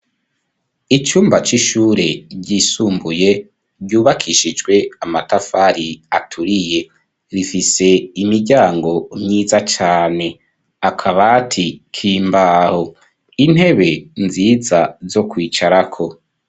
Icumba c'ishure ryisumbuye, ryubakishijwe amatafari aturiye, rifise imiryango myiza cane, akabati k'imbaho, intebe nziza zo kwicarako.